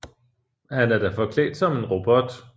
Han er da forklædt som en robot